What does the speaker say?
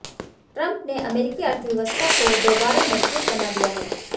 Trump ने अमेरिकी अर्थव्यवस्था काे दोबारा मजबूत बना दिया है